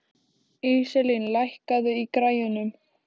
Íselín, lækkaðu í græjunum.